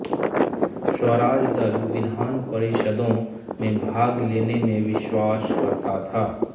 स्वराज दल विधान परिषदों में भाग लेने में विश्वास करता था